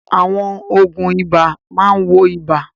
Àwọn òògùn ibà máa ń wo ibà.